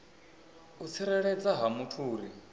u tsireledzea ha muthu uri